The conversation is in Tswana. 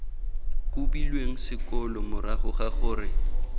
kobilweng sekolo morago ga gore